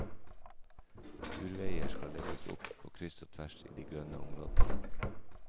Turveier skal legges opp på kryss og tvers i de grønne områdene.